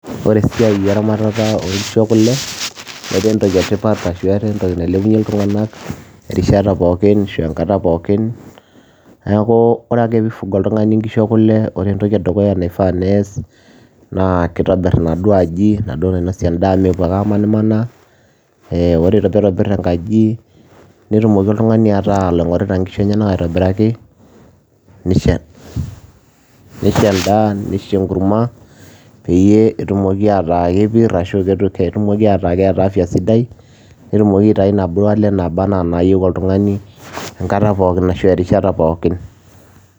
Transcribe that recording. Ore esiai eramatata onkishu ekule, netaa entoki etipat ashu etaa entoki nailepunye iltung'anak irishata pookin, ashu enkata pookin, neeku ore ake pi fuga oltung'ani inkishu ekule, ore entoki edukuya naifaa nees, naa kitobir inaduo aji, enaduo nainosie endaa amu mepuo ake amanimanaa, or pitobir enkaji, netumoki oltung'ani ataa oloing'orita nkoshu enyanak aitobiraki, nisho endaa, nisho enkurma, peyie etumoki ataa kepir, arashu ketumoki ataa keeta afya sidai, netumoki aitayu naduo ale naba enaa nayieu oltung'ani, enkata pookin ashu erishata pookin.